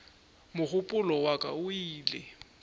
mogopolo wa ka o ile